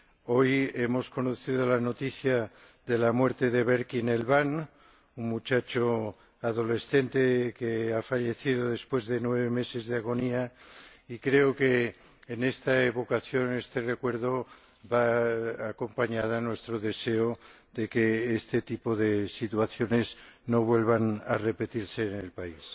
Hoy hemos conocido la noticia de la muerte de Berkin Elvan, un muchacho adolescente que ha fallecido después de nueve meses de agonía, y creo que esta evocación, este recuerdo, van acompañados de nuestro deseo de que este tipo de situaciones no vuelvan a repetirse en el país.